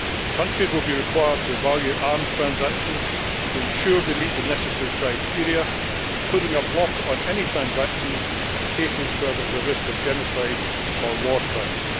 Countries will be required to evaluate arms transactions to ensure they meet the necessary criteria, including a block on any transactions in cases where there is a risk of genocide or war crimes.